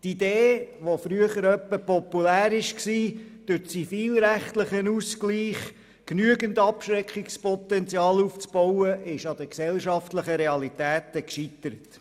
Die Idee, die früher beispielsweise populär war, durch zivilrechtlichen Ausgleich genügend Abschreckungspotenzial aufzubauen, ist an den gesellschaftlichen Realitäten gescheitert.